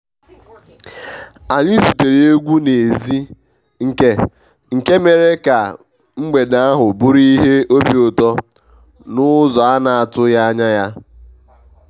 anyị zutere egwu n`ezi nke nke mere ka mgbede ahụ bụrụ ihe obiụtọ n`ụzọ ana- atụghị anya anya ya.